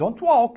Don't walk.